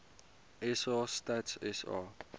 sa stats sa